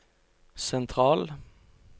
sentral